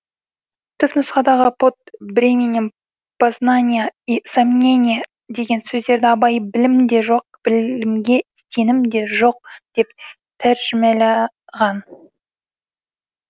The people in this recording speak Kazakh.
түпнұсқадағы под бременем познанья и сомнения деген сөздерді абай білім де жоқ білімге сенім де жоқ деп тәржімәлаған